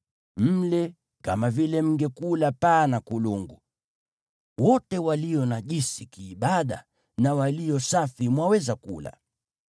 Mle kama vile mngekula paa na kulungu. Wote walio najisi kiibada na walio safi mwaweza kula.